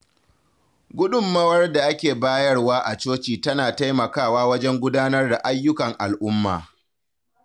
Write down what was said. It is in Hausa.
Gudunmawar da ake bayarwa a coci tana taimakawa wajen gudanar da ayyukan al’umma.